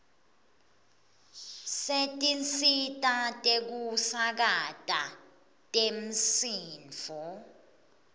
setinsita tekusakata temsindvo